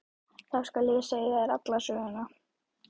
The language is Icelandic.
Þá skal ég segja þér alla söguna.